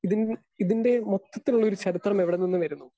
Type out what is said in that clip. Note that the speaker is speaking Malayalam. സ്പീക്കർ 2 ഇതിൻ ഇതിൻ്റെ മൊത്തത്തിലുള്ളൊരു ചരിത്രമെവിടെനിന്നുവരുന്നു?